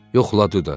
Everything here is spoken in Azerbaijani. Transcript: Yoxladı da.